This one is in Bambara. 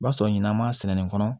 O b'a sɔrɔ ɲinan m'a sɛni kɔnɔ